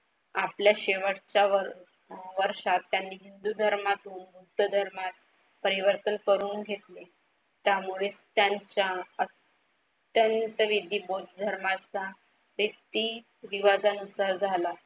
आपल्या शेवटच्या व वर्षात त्यांनी हिंदू धर्मातून बुद्धधर्मात परिवर्तन करून घेतले. त्यामुळे त्यांच्या अत्यंत विधी बौध धर्माचा रिवाजानुसार झाला.